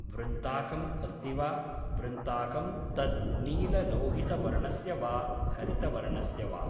वृन्ताकम् अस्ति वा, वृन्ताकं तद् नीललोहितवर्णस्य वा हरितवर्णस्य वा